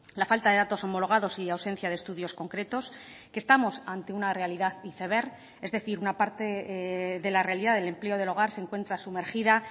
la falta de datos homologados y ausencia de estudios concretos que estamos ante una realidad iceberg es decir una parte de la realidad del empleo del hogar se encuentra sumergida